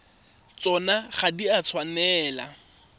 tsona ga di a tshwanela